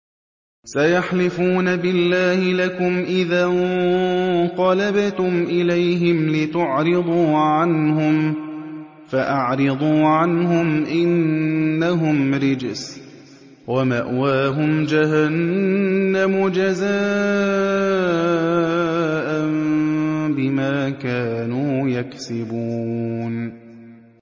سَيَحْلِفُونَ بِاللَّهِ لَكُمْ إِذَا انقَلَبْتُمْ إِلَيْهِمْ لِتُعْرِضُوا عَنْهُمْ ۖ فَأَعْرِضُوا عَنْهُمْ ۖ إِنَّهُمْ رِجْسٌ ۖ وَمَأْوَاهُمْ جَهَنَّمُ جَزَاءً بِمَا كَانُوا يَكْسِبُونَ